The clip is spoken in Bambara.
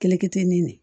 Kɛlɛkɛtenin de